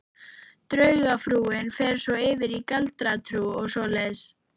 Draugatrúin fer svo yfir í galdratrú og svoleiðis.